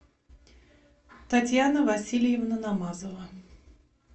татьяна васильевна намазова